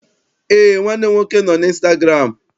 Eé, nwanne m nwoke nọ n'ịnstagụramụ.